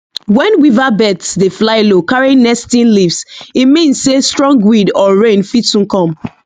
when weaver birds dey fly low carrying nesting leaves e mean say strong wind or rain fit soon come